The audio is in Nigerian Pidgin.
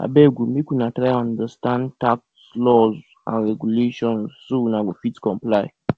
abeg o make una try understand tax laws and regulations so una go fit comply